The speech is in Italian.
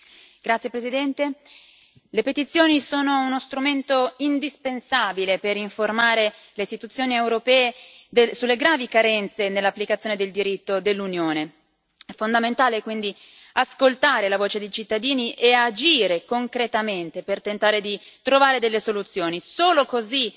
Signor Presidente, onorevoli colleghi, le petizioni sono uno strumento indispensabile per informare le istituzioni europee sulle gravi carenze nell'applicazione del diritto dell'Unione. È fondamentale, quindi, ascoltare la voce dei cittadini e agire concretamente per tentare di trovare delle soluzioni. Solo così